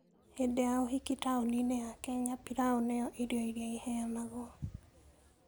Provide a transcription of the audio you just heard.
Hĩndĩ ya ũhiki taũni-inĩ ya Kenya, pilau nĩyo irio ĩrĩa ĩheanagwo.